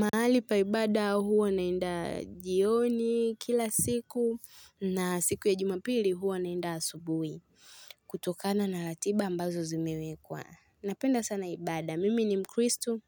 Mahali pa ibada huwa naenda jioni kila siku na siku ya jumapili huwa naenda asubuhi. Kutokana na ratiba ambazo zimewekwa. Napenda sana ibada. Mimi ni mkristu,